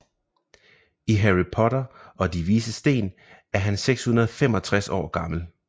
I Harry Potter og De Vises Sten er han 665 år gammel